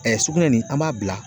sugunɛ nin an b'a bila